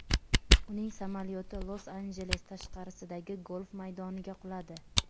Uning samolyoti Los-Anjeles tashqarisidagi golf maydoniga quladi.